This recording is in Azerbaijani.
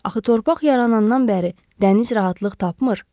Axı torpaq yaranandan bəri dəniz rahatlıq tapmır.